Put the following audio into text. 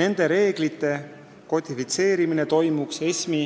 Nende reeglite kodifitseerimine toimuks ESM-i